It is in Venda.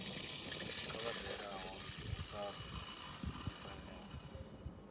kha vha dalele sars efiling